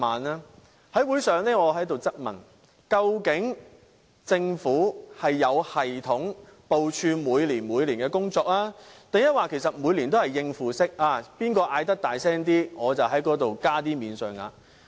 我在會上質問，究竟政府是有系統地部署每年的工作，還是每年也是應付式，誰喊得大聲，便在有關部分增加免稅額？